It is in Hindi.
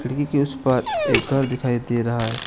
के उस पार एक घर दिखाई दे रहा है।